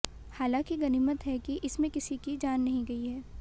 हालांकि गनीमत है कि इसमें किसी की जान नहीं गई है